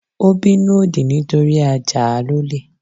Ó bínú òdì nítorí a Jáà lólè.